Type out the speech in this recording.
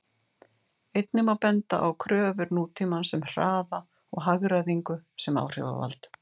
Einnig má benda á kröfur nútímans um hraða og hagræðingu sem áhrifavald.